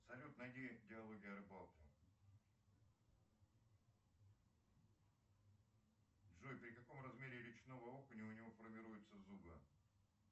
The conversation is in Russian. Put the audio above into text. салют найди диалоги о рыбалке джой при каком размере речного окуня у него формируются зубы